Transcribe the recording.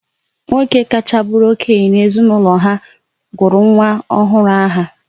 Nwoke kacha bụrụ okenye na-ezinaụlọ ha gụrụ nwa ọhụrụ aha